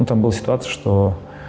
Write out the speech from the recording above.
ну там была ситуация что